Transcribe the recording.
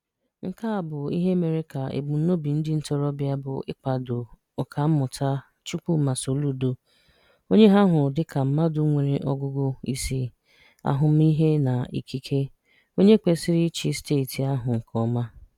Nke a bụ ihe mere ka ebumnobi ndị ntorobịa bụ ịkwado Ọkammụta Chukwuma Soludo, onye ha hụrụ dịka mmadụ nwere ọgụgụ isi, ahụmahụ na ikike, onye kwesịrị ịchị Steeti ahụ nke ọma.